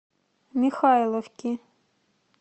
михайловки